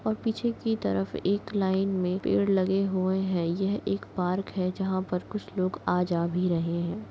और पीछे की तरफ एक लाइन मे पेड़ लगे हुए है यह एक पार्क है जहाँ कुछ लोग आ जा भी रहे है।